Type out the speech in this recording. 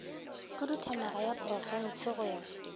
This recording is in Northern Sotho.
khuduthamaga ya profense go ya